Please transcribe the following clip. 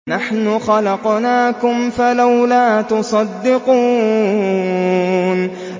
نَحْنُ خَلَقْنَاكُمْ فَلَوْلَا تُصَدِّقُونَ